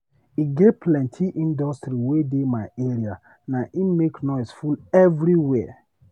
E get plenty industry wey dey my area naim make noise full everywhere.